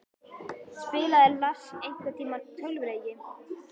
Spilaði Lars einhverntímann tölvuleiki?